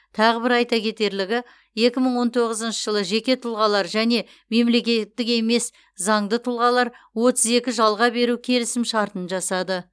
тағы бір айта кетерлігі екі мың он тоғызыншы жылы жеке тұлғалар және мемлекеттік емес заңды тұлғалар отыз екі жалға беру келісімшартын жасады